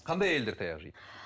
қандай әйелдер таяқ жейді